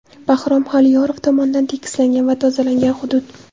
Bahrom Xoliyorov tomonidan tekislangan va tozalangan hudud.